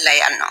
La yan nɔ